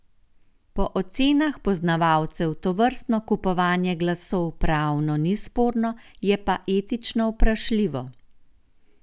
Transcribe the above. Po ocenah poznavalcev tovrstno kupovanje glasov pravno ni sporno, je pa etično vprašljivo.